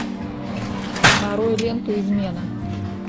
нарой ленту измена